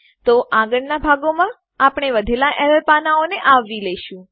તો આગળના ભાગોમાં આપણે વધેલા એરર પાનાંઓને આવરી લેશું